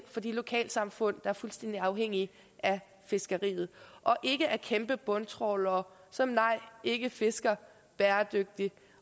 for de lokalsamfund der er fuldstændig afhængige af fiskeriet og ikke af kæmpe bundtrawlere som nej ikke fisker bæredygtigt